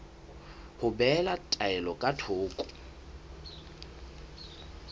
ho behela taelo ka thoko